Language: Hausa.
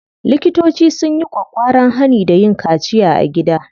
Likitoci sun yi ƙwaƙƙwaran hani da yin kaciya a gida.